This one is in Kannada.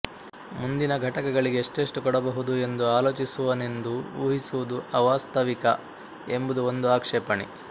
ಮುಂದಿನ ಘಟಕಗಳಿಗೆ ಎಷ್ಟೆಷ್ಟು ಕೊಡಬಹುದು ಎಂದು ಆಲೋಚಿಸುವನೆಂದು ಊಹಿಸುವುದು ಅವಾಸ್ತವಿಕ ಎಂಬುದು ಒಂದು ಆಕ್ಷೇಪಣೆ